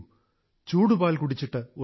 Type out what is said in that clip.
ചൂടുപാൽ കുടിച്ചിട്ട് ഉറങ്ങൂ